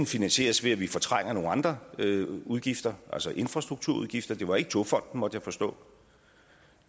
finansieres ved at vi fortrænger nogle andre udgifter altså infrastrukturudgifter det var ikke togfonden dk måtte jeg forstå